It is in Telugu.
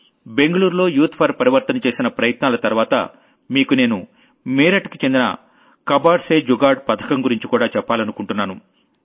బెంగుళూరులో యూత్ ఫోర్ Parivarthanచేసిన ప్రయత్నాల తర్వాత మీకు నేను మీరట్ కి చెందిన కబాడ్ సే జుగాడ్ कबाड़सेजुगाड़ పథకం గురించి కూడా చెప్పాలనుకుంటున్నాను